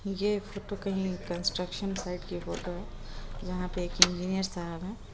ये फोटो कहीं construction site की फोटो है जहां पे एक इंजीनियर साहब है।